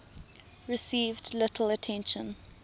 received little attention